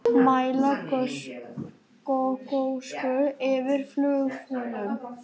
Mæla gosösku yfir flugvöllum